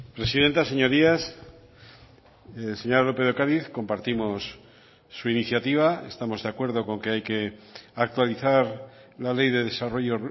presidenta señorías señora lópez de ocariz compartimos su iniciativa estamos de acuerdo con que hay que actualizar la ley de desarrollo